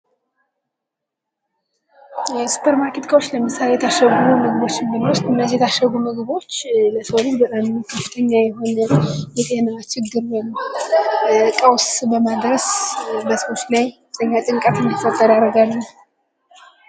የሱፐር ማርኬት እቃዎች ለምሳሌ የታሸጉ ምግቦች ለሰው ልጅ በጣም ከፍተኛ የሆነ የጤና ችግር ፣ ቀውስ በማድረስ በሰዎች ላይ ከፍተኛ ጭንቀት እንዲፈጠር ያደርጋሉ።